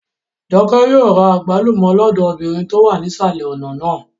Jọkẹ́ yóò ra àgbálùmọ́ lọ́dọ̀ obìnrin tó wà nísàlẹ̀ ọ̀nà náà